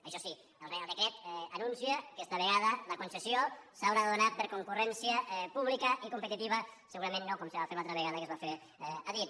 això sí el reial de·cret anuncia que esta vegada la concessió s’haurà de donar per concurrència pública i competitiva segura·ment no com se va fer l’altra vegada que es va fer a dit